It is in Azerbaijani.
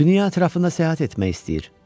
Dünya ətrafında səyahət etmək istəyir.